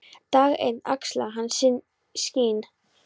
Dag einn axlaði hann sín skinn.